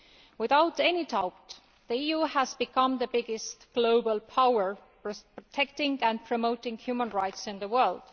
Without any doubt, the EU has become the biggest global power for protecting and promoting human rights in the world.